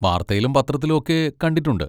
വാർത്തയിലും പത്രത്തിലും ഒക്കെ കണ്ടിട്ടുണ്ട്.